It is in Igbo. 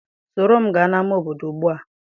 Soro m gaa n' ama obodo ugbu a.